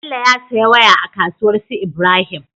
Bello ya siya waya a kasuwar su ibrahim